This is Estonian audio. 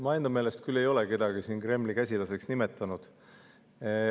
Ma enda meelest küll ei ole kedagi siin Kremli käsilaseks nimetanud.